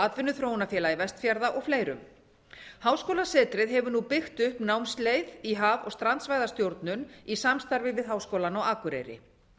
atvinnuþróunarfélagi vestfjarða og fleirum háskólasetrið hefur nú byggt upp námsleið í haf og strandsvæðastjórnun í samstarfi við háskólann á akureyri